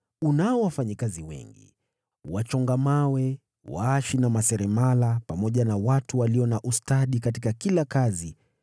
Unao wafanyakazi wengi: Wachonga mawe, waashi na maseremala, pamoja na watu walio na ustadi katika kila kazi